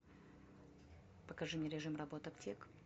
покажи мне режим работы аптек